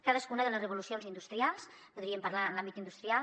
cadascuna de les revolucions industrials podríem parlar en l’àmbit industrial